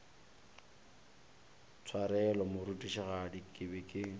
tshwarelo morutišigadi ke be ke